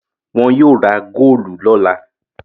Wọn yóò ra góólù lọ́la.